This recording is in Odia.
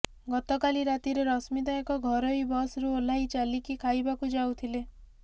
ଗତକାଲି ରାତିରେ ରଶ୍ମିତା ଏକ ଘରୋଇ ବସ୍ରୁ ଓହ୍ଲାଇ ଚାଲିକି ଖାଇବାକୁ ଯାଉଥିଲେ